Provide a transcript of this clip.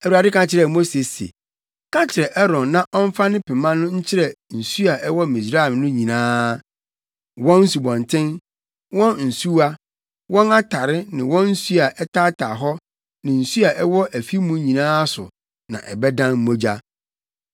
Awurade ka kyerɛɛ Mose se, “Ka kyerɛ Aaron na ɔmfa ne pema no nkyerɛ nsu a ɛwɔ Misraim no nyinaa; wɔn nsubɔnten, wɔn nsuwa, wɔn atare ne wɔn nsu a ɛtaataa hɔ ne nsu a ɛwɔ afi mu nyinaa so na ɛbɛdan mogya.”